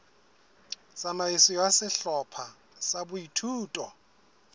tsamaiso ya sehlopha sa boithuto